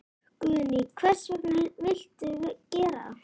Guðný: Hvers vegna viltu gera það?